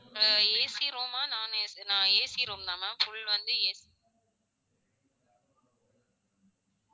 அஹ் AC room ஆ ah non AC room தான் ma'am full வந்து AC